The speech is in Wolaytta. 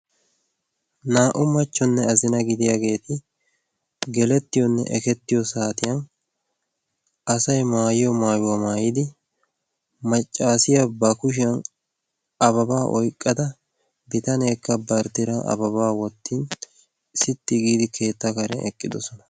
naa''u machchonne azina gidiyaageeti gelettiyoonne ekettiyo saatiyan asay maayiyo maayuwaa maayidi maccaasiyaa ba kushiyan ababaa oyqqada bitanyaakka barttira ababaa wottin sixxi giidi keetta karen eqqidosona